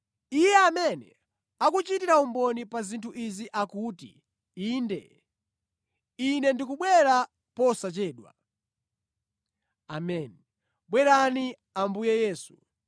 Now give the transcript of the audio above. Iye amene akuchitira umboni pa zinthu izi akuti, “Inde, Ine ndikubwera posachedwa.” Ameni. Bwerani Ambuye Yesu.